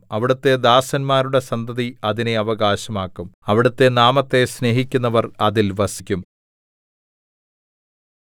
അവിടുത്തെ ദാസന്മാരുടെ സന്തതി അതിനെ അവകാശമാക്കും അവിടുത്തെ നാമത്തെ സ്നേഹിക്കുന്നവർ അതിൽ വസിക്കും